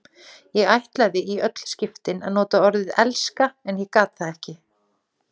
Ég ætlaði í öll skiptin að nota orðið elska en ég gat það ekki.